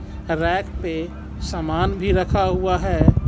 Rack पे सामान भी रखा हुआ है.